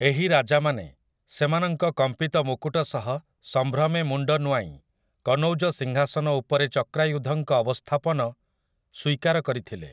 ଏହି ରାଜାମାନେ, ସେମାନଙ୍କ କମ୍ପିତ ମୁକୁଟ ସହ ସମ୍ଭ୍ରମେ ମୁଣ୍ଡ ନୁଆଁଇ, କନୌଜ ସିଂହାସନ ଉପରେ ଚକ୍ରାୟୁଧଙ୍କ ଅବସ୍ଥାପନ ସ୍ୱୀକାର କରିଥିଲେ ।